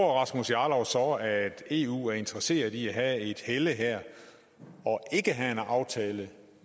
rasmus jarlov så at eu er interesseret i at der er et helle her og ikke have en aftale